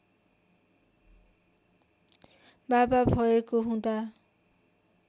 बाबा भएको हुँदा